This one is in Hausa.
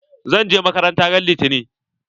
Zan je makaranta ran litani.